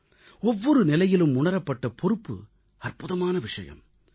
ஒவ்வொரு நிலையிலும் உணரப்பட்ட பொறுப்பு அற்புதமான விஷயம்